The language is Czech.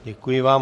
Děkuji vám.